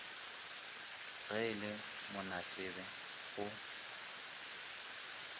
ge e le monatsebe o